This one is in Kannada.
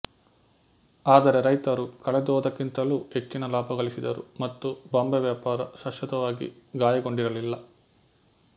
ಆದರೆ ರೈತರು ಕಳೆದುಹೋದಕ್ಕಿಂತಲೂ ಹೆಚ್ಚಿನ ಲಾಭ ಗಳಿಸಿದರು ಮತ್ತು ಬಾಂಬೆ ವ್ಯಾಪಾರ ಶಾಶ್ವತವಾಗಿ ಗಾಯಗೊಂಡಿರಲಿಲ್ಲ